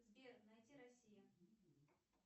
сбер найди россия